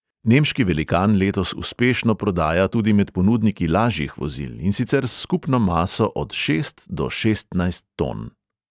Nemški velikan letos uspešno prodaja tudi med ponudniki lažjih vozil, in sicer s skupno maso od šest do šestnajst ton.